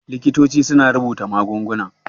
Likitoci suna rubuta magunguna.